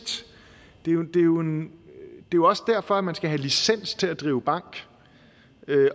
det er jo også derfor at man skal have licens til at drive bank